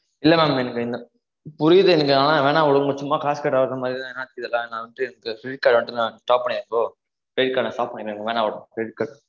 இல்ல maam என்னுது புரியுது எனக்கு ஆனா வேணாம் விடுங்க சும்மா காசு கட்டாத மாறி தான் நா வந்துட்டு இந்த credit card க்க வந்து stop பண்ணிருங்கோ credit cardstop பண்ணிடுங்க எனக்கு வேணாம் இந்த credit card